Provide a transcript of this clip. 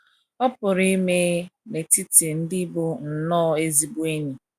Ọ PỤRỤ ime n’etiti ndị bụ nnọọ ezigbo enyi.